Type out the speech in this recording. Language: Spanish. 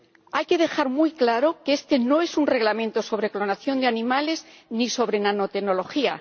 Hay que dejar muy claro que este no es un reglamento sobre clonación de animales ni sobre nanotecnología.